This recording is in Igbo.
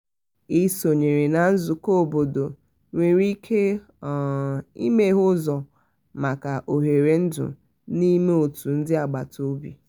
um ịsonyere na nzukọ obodo nwere ike um imeghe ụzọ maka òhèrè ndú n'ime òtù ndị agbata um obi.